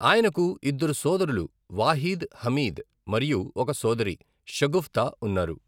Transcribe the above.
ఆయనకు ఇద్దరు సోదరులు వాహీద్, హమీద్ మరియు ఒక సోదరి షగుఫ్తా ఉన్నారు.